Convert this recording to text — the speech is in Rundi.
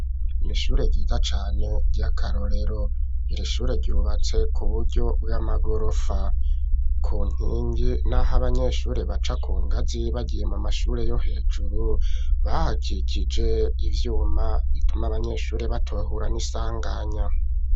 Kw'ishure ryiza cane ryakarorero, iri shure ryubatse ku buryo bw'amagorofa kunkingi naho abanyeshure baca kungazi bagiye mu mashure yo hejuru bahakikije ivyuma bituma abanyeshure batohura n'isanganya.